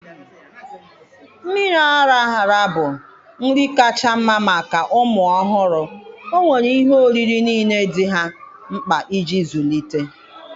Mmiri ara ara bụ nri kacha mma maka ụmụ ọhụrụ, ọ nwere ihe oriri niile dị ha mkpa iji zụlite